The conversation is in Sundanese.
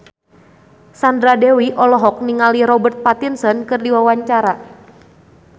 Sandra Dewi olohok ningali Robert Pattinson keur diwawancara